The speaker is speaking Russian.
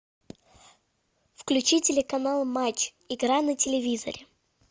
включи телеканал матч игра на телевизоре